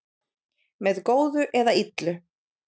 Með góðu eða illu.